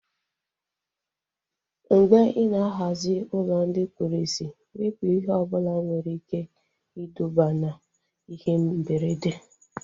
Mgbe ị ná-ahazi ụlọ ndị kpụrụ isi, wepụ ihe ọbụla nwere ike iduba na ihe mberede